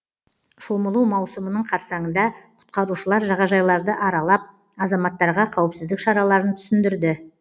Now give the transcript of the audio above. шомылу маусымының қарсаңында құтқарушылар жағажайларды аралап азаматтарға қауіпсіздік шараларын түсіндірді